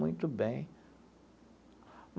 Muito bem.